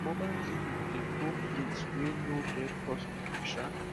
mobile clinic dey go place wey no get hospital um